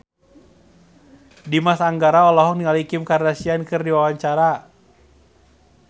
Dimas Anggara olohok ningali Kim Kardashian keur diwawancara